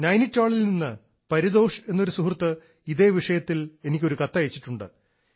നൈനിറ്റാളിൽ നിന്ന് പരിതോഷ് എന്നൊരു സുഹൃത്ത് ഇതേ വിഷയത്തിൽ എനിക്കൊരു കത്തയച്ചിട്ടുണ്ട്